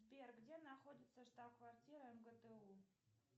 сбер где находится штаб квартира мгту